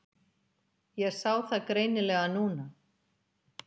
Ég sá það greinilega núna.